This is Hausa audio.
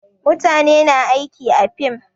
Mutane na aiki a fim